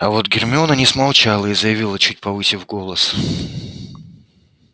а вот гермиона не смолчала и заявила чуть повысив голос